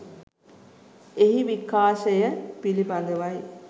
එහි විකාශය පිළිබඳවයි.